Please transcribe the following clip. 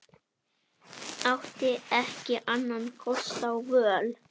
Átti ekki annarra kosta völ.